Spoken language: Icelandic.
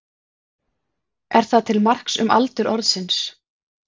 Er það til marks um aldur orðsins.